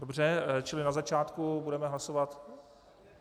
Dobře, čili na začátku budeme hlasovat...